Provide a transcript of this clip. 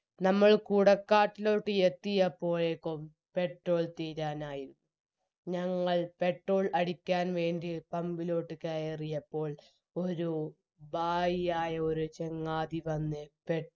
നമ്മൾ കുടക്കാട്ടിലോട്ട് യെത്തിയപ്പോഴേക്കും petrol തീരാനായി ഞങ്ങൾ petrol അടിക്കാൻ വേണ്ടി pump ലോട്ട് കയറിയപ്പോൾ ഒരു ഭായിയായ ഒരു ചങ്ങാതി വന്ന് പേ